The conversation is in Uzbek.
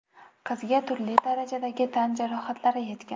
Qizga turli darajadagi tan jarohatlari yetgan.